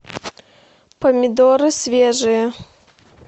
помидоры свежие